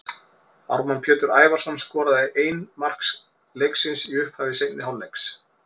Ármann Pétur Ævarsson skoraði ein mark leiksins í upphafi seinni hálfleiks.